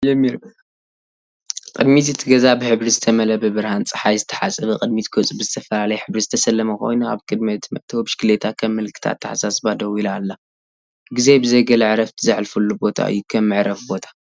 ቅድሚት እቲ ገዛ ብሕብሪ ዝተመልአ፣ ብብርሃን ጸሓይ ዝተሓጽበ፤ ቅድሚት ገጹ ብዝተፈላለየ ሕብሪ ዝተሰለመ ኮይኑ፡ ኣብ ቅድሚ እቲ መእተዊ ብሽክለታ ከም ምልክት ኣተሓሳስባ ደው ኢላ ኣላ። ግዜ ብዘይ ገለ ዕረፍቲ ዘሕልፈሉ ቦታ እዩ፣ ከም መዕረፊ ቦታ።